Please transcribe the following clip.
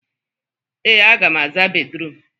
Ee, aga m aza bédrụum.